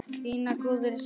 Þín Guðrún Svava.